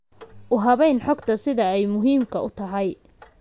U habayn xogta sida ay muhiimka u tahay.